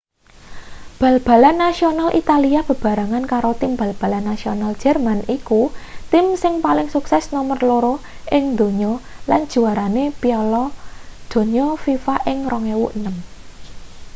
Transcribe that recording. bal-balan nasional italia bebarengan karo tim bal-balan nasional jerman iku tim sing paling sukses nomer loro ing donya lan juwarane piala donya fifa ing 2006